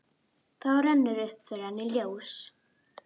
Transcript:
Þá rennur upp fyrir henni ljós.